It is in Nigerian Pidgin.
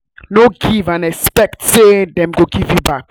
no give and expect say dem must give you back